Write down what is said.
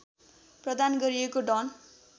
प्रदान गरिएको डन